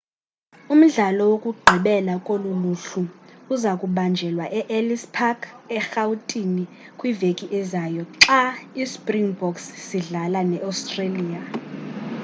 umdlalo wokugqibela kolu luhlu uzakubanjelwa e-ellis park erhawutini kwiveki ezayo xa ispringboks sidlala ne-australia